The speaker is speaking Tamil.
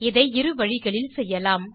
இதை இரு வழிகளில் செய்யலாம்